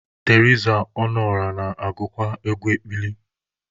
Teriza Ọnụọra na-agụkwa egwu ekpili.